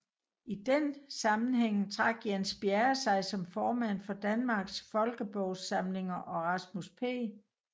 I den sammenhæng trak Jens Bjerre sig som formand for Danmarks Folkebogsamlinger og Rasmus P